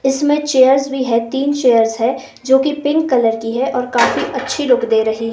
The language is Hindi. इसमें चेयर्स भी है तीन चेयर्स है जो कि पिंक कलर की है और काफी अच्छी लुक दे रही--